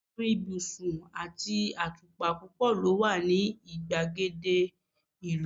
àwọn ibusun ati atupa púpò lo wa ni igbagede ìlú